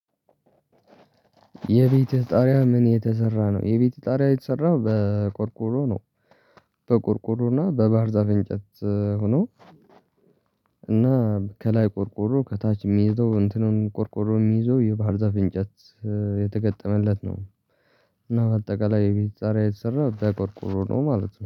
የቤትህ ጣሪያ ምን የተሰራ ነው? የቤትህ ጣሪያ የተሰራው በቆርቆሮ ነው። በቆርቆሮ እና በባህር ዛፍ እንጨት ሆኖ። እና ከላይ ቆርቆሮ ከታች የሚይዘው እንትኑን ቆርቆሮ የሚይዘው የባህር ዛፍ እንጨት የተገጠመለት ነው። እና በአጠቃላይ የቤት ጣሪያ የተሰራ በቆርቁሮ ነው ማለት ነው